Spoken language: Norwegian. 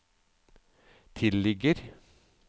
tilligger